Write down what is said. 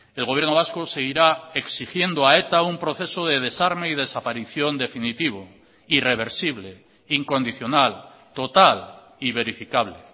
el gobierno vasco seguirá exigiendo a eta un proceso de desarme y desaparición definitivo irreversible incondicional total y verificable